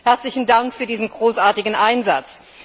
Herzlichen Dank für diesen großartigen Einsatz!